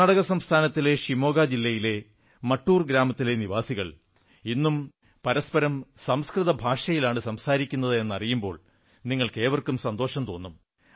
കർണ്ണാടക സംസ്ഥാനത്തിലെ ശിമോഗാ ജില്ലയിലെ മട്ടൂർ ഗ്രാമത്തിലെ നിവാസികൾ ഇന്നും പരസ്പരം സംസ്കൃത ഭാഷയിലാണു സംസാരിക്കുന്നതെന്നറിയുമ്പോൾ നിങ്ങൾക്കേവർക്കും സന്തോഷം തോന്നും